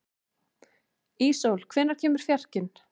Íssól, hvenær kemur fjarkinn?